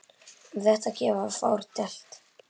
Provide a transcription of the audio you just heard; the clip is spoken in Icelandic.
Um þetta geta fáir deilt.